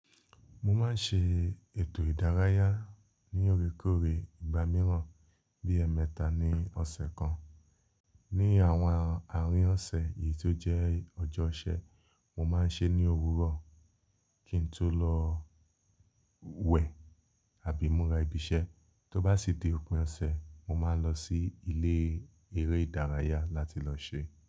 Mo máa ń ṣe ètò ìdárayá ní órekóore ìgbà mìíràn bí i ẹ̀ẹ̀mẹta ní ọ̀sẹ̀ kan. Ni àwọn àárín ọ̀sẹ̀ eyìí tó jẹ́ ọjọ́ ọ̀sẹ̀, mo máa ń se ní òwúrọ̀ kín n tó lọ wẹ̀ àbí mo li ibi iṣẹ́. Tóbá sí di òpin ọ̀sẹ̀, mo máa n lọ sí ilé eré ìdárayá láti lọ ṣe.